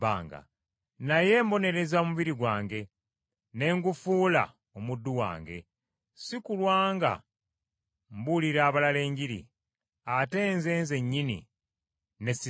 Naye mbonereza omubiri gwange ne ngufuula omuddu wange, si kulwa nga mbuulira abalala Enjiri, ate nze nzennyini ne sisiimibwa.